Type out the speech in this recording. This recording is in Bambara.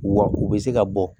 Wa u bɛ se ka bɔ